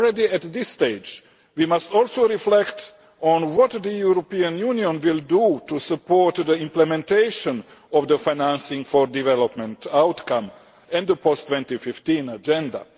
At this stage, we must also reflect on what the European Union will do to support the implementation of the financing for development outcome and the post 2015 agenda.